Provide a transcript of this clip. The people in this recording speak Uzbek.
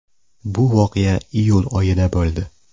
Bu voqea iyul oyida bo‘ldi.